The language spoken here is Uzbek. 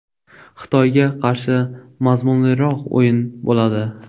Xitoyga qarshi mazmunliroq o‘yin bo‘ladi.